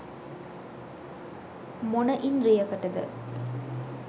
මොන ඉන්ද්‍රියකටද?